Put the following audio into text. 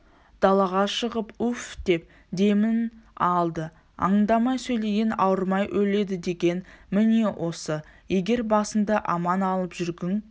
далаға шығып уфдеп демін алды аңдамай сөйлеген ауырмай өледідеген міне осы егер басыңды аман алып жүргің